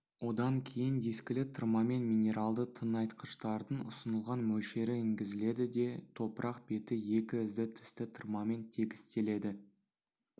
одан кейін дискілі тырмамен минералды тыңайтқыштардың ұсынылған мөлшері енгізіледі де топырақ беті екі ізді тісті тырмамен тегістеледі